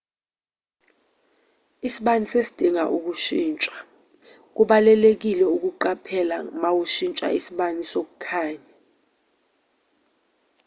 isibani sesidinga ukushintshwa kubalulekile ukuqaphela mawushintsha isibani sokukhanya